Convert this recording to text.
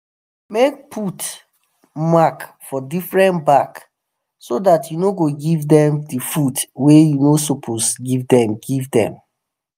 make put mark for different bag so that u no go give them the food wa you no suppose give them give them